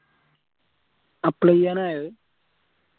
apply ചെയ്യാനായോ അത്